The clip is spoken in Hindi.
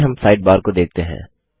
आगे हम साइड बार को देखते हैं